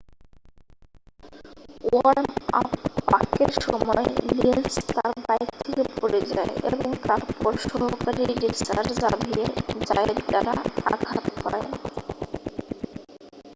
worm up পাকের সময় Lenz তাঁর বাইক থেকে পড়ে যায় এবং তারপর সহকারী রেসার জাভিয়ের জায়েত দ্বারা আঘাত পায়